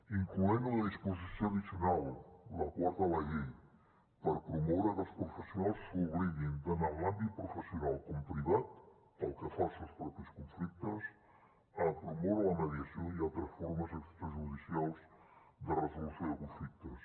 inclou una disposició addicional la quarta de la llei per promoure que els professionals s’obliguin tant en l’àmbit professional com privat pel que fa als seus propis conflictes a promoure la mediació i altres formes extrajudicials de resolució de conflictes